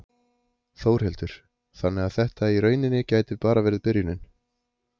Þórhildur: Þannig að þetta í rauninni gæti bara verið byrjunin?